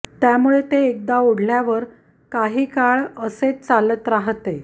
त्यामुळे ते एकदा ओढल्यावर काही काळ असेच चालत राहते